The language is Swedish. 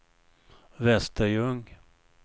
Västerljung